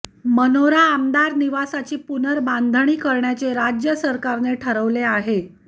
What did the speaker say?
मनोरा आमदार निवासाची पुनर्बांधणी करण्याचे राज्य सरकारने ठरवले आहे